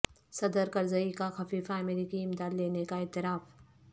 صدر کرزئی کا خفیہ امریکی امداد لینے کا اعتراف